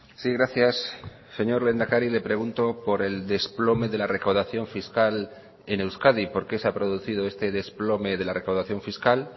sí gracias señor lehendakari le pregunto por el desplome de la recaudación fiscal en euskadi por qué se ha producido este desplome de la recaudación fiscal